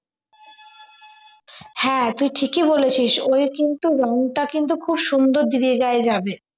হ্যাঁ তুই ঠিকই বলেছিস ওই কিন্তু রংটা কিন্তু খুব সুন্দর দিদির গায়ে যাবে